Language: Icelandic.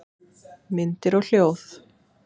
Myndir og hljóð